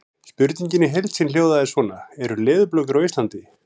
Spurningin í heild sinni hljóðaði svona: Eru leðurblökur á Íslandi?